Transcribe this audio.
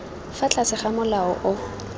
fa tlase ga molao o